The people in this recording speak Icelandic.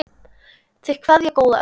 Þeir kveðja góða ömmu.